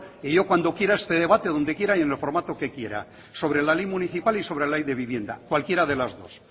yo cuando quiera este debate donde quiera y en el formato que quiera sobre la ley municipal y sobre la ley de vivienda cualquiera de las dos